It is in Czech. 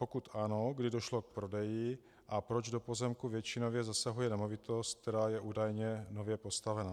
Pokud ano, kdy došlo k prodeji a proč do pozemku většinově zasahuje nemovitost, která je údajně nově postavena?